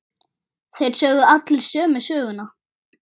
Þeir sögðu allir sömu söguna.